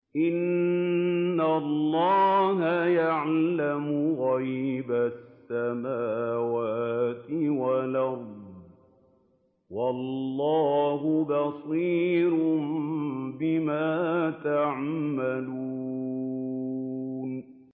إِنَّ اللَّهَ يَعْلَمُ غَيْبَ السَّمَاوَاتِ وَالْأَرْضِ ۚ وَاللَّهُ بَصِيرٌ بِمَا تَعْمَلُونَ